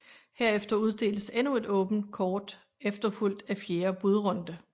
Herefter uddeles endnu et åbent kort efterfulgt af fjerde budrunde